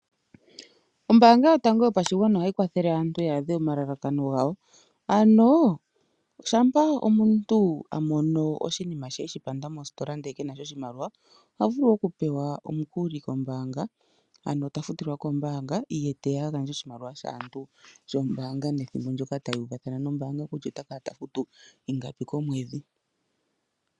Ombaanga yotango yoapashigwana ohayi kwathele aantu ya adhe omalakano gawo. Shampa omuntu a mono oshinima she e shi panda mositola, ihe ke na sha oshimaliwa oha vulu okupewa omukuli kombaanga, ano ta futilwa kombaanga ye te ya a gandje oshimaliwa shombaanga nethimbo ndyoka taya uvathana kutya ota kala ta futu ingapi komwedhi.